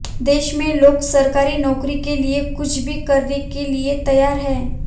देश में लोग सरकारी नौकरी के लिए कुछ भी करने के लिए तैयार हैं